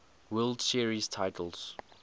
world series titles